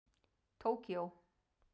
Tókíó